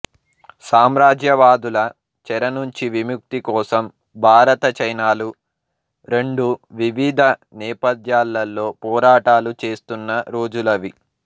సామ్రాజ్యవాదుల చెరనుంచి విముక్తికోసం భారత చైనాలు రెండూ వివిధ నేపథ్యాలలో పోరాటాలు చేస్తున్న రోజులవి